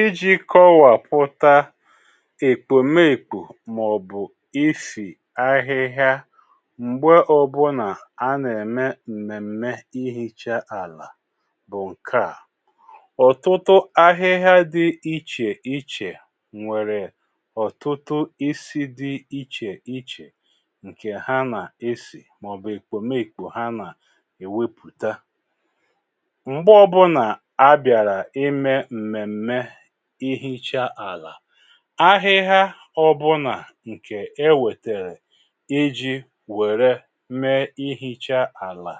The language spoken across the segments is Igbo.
Iji̇ kọwàpụ̀ta èkpòmekpù mà ọ̀bụ̀ isì ahịhịa m̀gbe ọ̇bụ̇nà a nà-ème m̀mèm̀me ihìcha àlà bụ̀ ǹke à: ọ̀tụtụ ahịhịa dị ichè ichè nwèrè ọ̀tụtụ isi dị ichè ichè ǹkè ha nà-esì mà ọ̀bụ̀ èkpòmekpù ha nà-èwepùta. Mgbe ọbụlà abịara ime mmemme i hichaa àlà, ahịhà ọ bụnà ǹkè e wètèrè iji wère mee ihicha àlà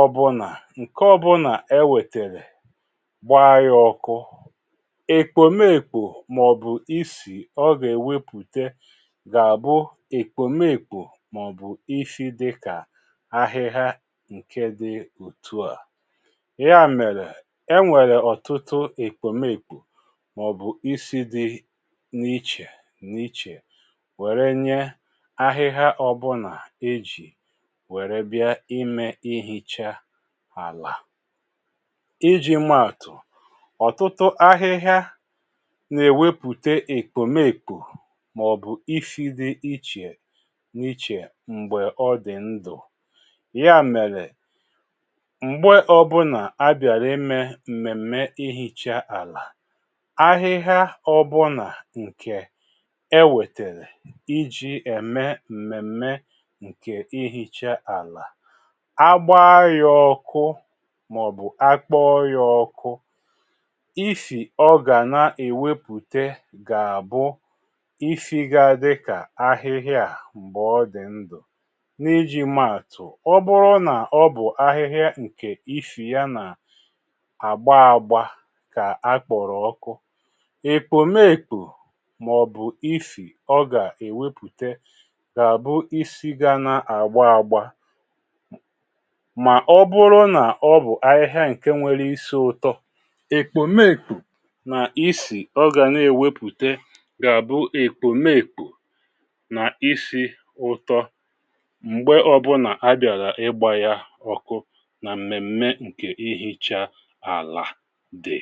ọ bụnà, ǹke ọ bụnà e wètèrè gbaa ya ọkụ, èkpòmekpò mà ọ̀bụ̀ isì ọ gà-èwepùte gà-àbụ èkpòmekpò mà ọ̀bụ̀ isi dịkà ahịhà ǹke dị òtù a. Ya mere e nwere ọ̀tụtụ èkpòmekpò mà ọ̀bụ̀ isi dị n’ichè n’ichè wère nye ahịhịa ọ̀bụlà ejì wère bịa imė ihicha àlà. Iji̇ maa àtụ̀, ọ̀tụtụ ahịhịa na-èwepùte èkpòmèkpo mà ọ̀bụ̀ isi dị ichè n’ichè m̀gbè ọ dị̀ ndụ̀. Ya mèrè m̀gbe ọbụlà a bịàrà imė mmemme ihicha ala, ahịhịa ọbụ̇nà ǹkè ewètèrè iji̇ ème m̀mèm̀mè ǹkè ihicha àlà, agbaa yȧ ọkụ, mà ọ̀bụ̀ akpọọ yȧ ọkụ isì ọ gà na-èwepùte gà àbụ isi gȧ dị kà ahịhịa a m̀gbè ọ dị̀ ndụ̀. N’iji̇ maàtụ̀, ọ bụrụ nà ọ bụ̀ ahịhịa ǹkè ifì ya nà-àgba ȧgbȧ ka akpọrọ ọkụ, ekpomekpo mà ọ̀bụ̀ isì ọ gà-èwepùte gà àbụ isi̇ ga na-àgba ȧgbȧ mà ọbụrụ nà ọ bụ̀ ahịhịa ǹke nwere isi̇ ụ̇tọ ekpomekpo na isì ọ gà n’èwepùte gà-àbụ ekpomekpo na isì ụtọ mgbe ọbụlà abịara ịgba ya ọkụ nà m̀mèm̀me ǹkè ihicha ala dị